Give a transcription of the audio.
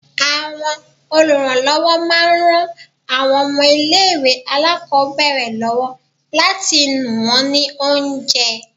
Àwọn olùrànlọ́wọ́ máa ń ran àwọn ọmọ ilé ìwé alákòbẹ̀rẹ̀ lọ́wọ́ láti nù wón ní oúnjẹ.